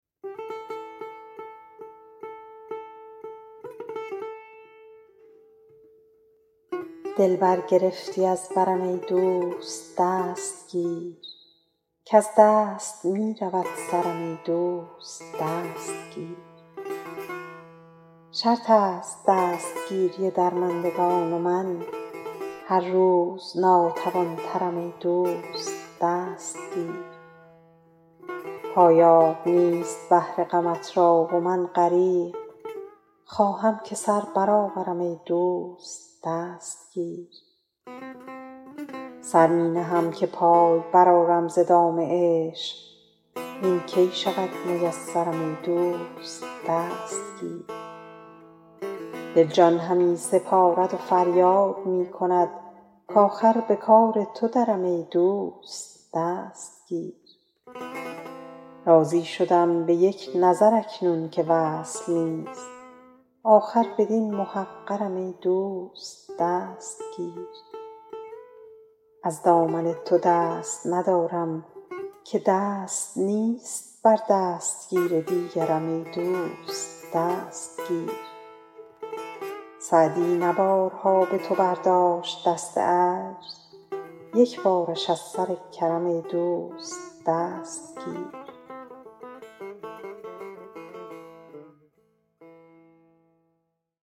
دل برگرفتی از برم ای دوست دست گیر کز دست می رود سرم ای دوست دست گیر شرط است دستگیری درمندگان و من هر روز ناتوان ترم ای دوست دست گیر پایاب نیست بحر غمت را و من غریق خواهم که سر برآورم ای دوست دست گیر سر می نهم که پای برآرم ز دام عشق وین کی شود میسرم ای دوست دست گیر دل جان همی سپارد و فریاد می کند کآخر به کار تو درم ای دوست دست گیر راضی شدم به یک نظر اکنون که وصل نیست آخر بدین محقرم ای دوست دست گیر از دامن تو دست ندارم که دست نیست بر دستگیر دیگرم ای دوست دست گیر سعدی نه بارها به تو برداشت دست عجز یک بارش از سر کرم ای دوست دست گیر